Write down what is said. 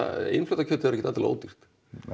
innflutta kjötið er ekkert endilega ódýrt